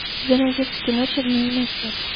у тебя найдется кино чернильное сердце